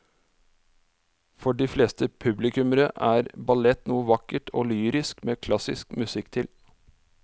For de fleste publikummere er ballett noe vakkert og lyrisk med klassisk musikk til.